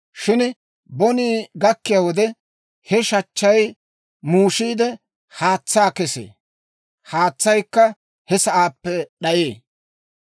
Shin bonii gakkiyaa wode, he shachchay muushiide, haatsaa kesee; haatsaykka he sa'aappe d'ayee.